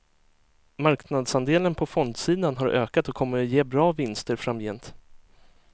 Marknadsandelen på fondsidan har ökat och kommer att ge bra vinster framgent.